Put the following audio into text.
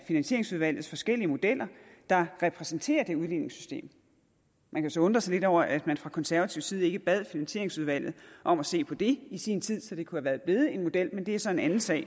finansieringsudvalgets forskellige modeller der repræsenterer det udligningssystem man kan så undre sig lidt over at man fra konservativ side ikke bad finansieringsudvalget om at se på det i sin tid så det kunne være blevet en model men det er så en anden sag